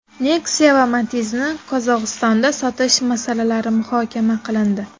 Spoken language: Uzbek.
Nexia va Matiz’ni Qozog‘istonda sotish masalalari muhokama qilindi.